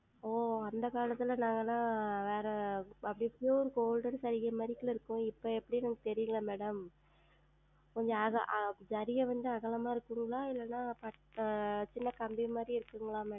ஓ அந்த காலத்துல நாங்கல்லாம் வேற அப்டி அப்டியே Golden ஜரிகைமாறி தான் இருக்கும். இப்போ எப்டின்னு எனக்கு தெரியலையே Madam கொஞ்சம் அதா ஜரிகை வந்து அகலமா இருக்குங்ளா இல்லன்னா சின்ன கம்பி மாதிரி இருக்குங்களா Madam